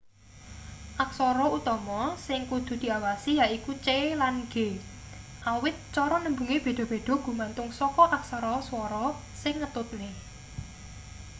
aksara utama sing kudu diawasi yaiku c lan g awit cara nembunge beda-beda gumantung saka aksara swara sing ngetutne